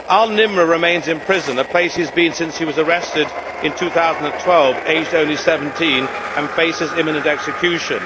Al Nimr remains in prison, a place he has been since he was arrested in 2012, aged only 17, and faces imminent execution.